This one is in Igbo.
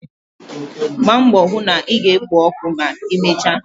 Gbaa mbọ hụ na ị ga-ekpo ọkụ ma emechaa!.